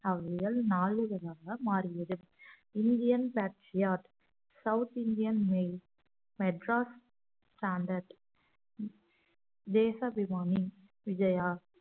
அவ்விதல் நாளிதழாக மாறியது Indian Patriot South Indian Mail Madras Standard Desa Vimani Vijaya